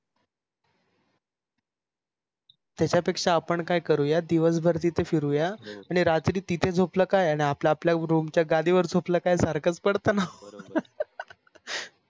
त्याच्या पेक्षा आपण काय करूया दिवसभर तिथ फिरुया आणि रात्री तिथ झोपलं काय आणि आपल आपलं रूम च्य गादिवर झोपलं काय सारखच पडत न